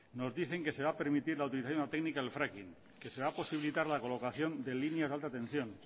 nos dicen que se va a permitir la utilización de la técnica del fracking que se va a posibilitar la colocación de línea de alta tensión